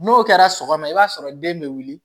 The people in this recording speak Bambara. N'o kɛra sɔgɔma i b'a sɔrɔ den bɛ wuli